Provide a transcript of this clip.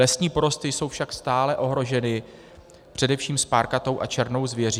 Lesní porosty jsou však stále ohroženy především spárkatou a černou zvěří.